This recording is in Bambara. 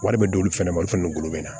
Wari bɛ d'olu fɛnɛ ma olu fana bolo bɛ na